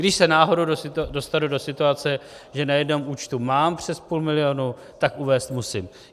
Když se náhodou dostanu do situace, že na jednom účtu mám přes půl milionu, tak uvést musím.